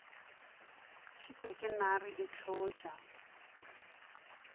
šitwa ke nare e hlotša